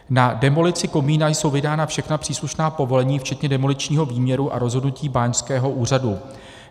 Na demolici komína jsou vydána všechna příslušná povolení včetně demoličního výměru a rozhodnutí báňského úřadu.